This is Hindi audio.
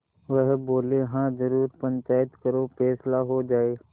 वह बोलेहाँ जरूर पंचायत करो फैसला हो जाय